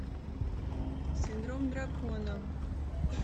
синдром дракона